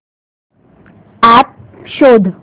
app शोध